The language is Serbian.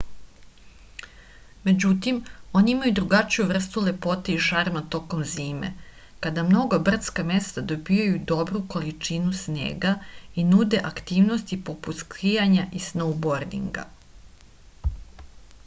međutim oni imaju drugačiju vrstu lepote i šarma tokom zime kada mnoga brdska mesta dobijaju dobru količinu snega i nude aktivnosti poput skijanja i snoubordinga